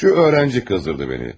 Şu öğrenci qızdırdı məni.